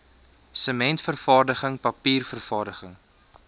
sementvervaardiging papier vervaardiging